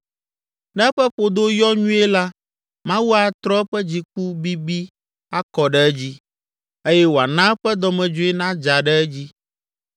Ne eƒe ƒodo yɔ nyuie la Mawu atrɔ eƒe dziku bibi akɔ ɖe edzi eye wòana eƒe dɔmedzoe nadza ɖe edzi.